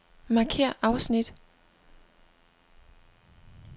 Markér afsnit.